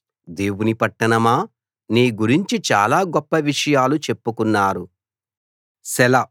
దేవుని పట్టణమా నీ గురించి చాలా గొప్ప విషయాలు చెప్పుకున్నారు సెలా